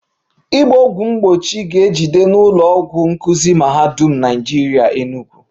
Ịgba ọgwụ mgbochi ga-ejide n'ụlọ ọgwụ nkuzi Mahadum Naịjirịa Enugu